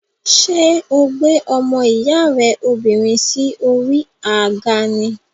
Ṣé o gbé ọmọ ìyá rẹ obìnrin sí orí àga ni?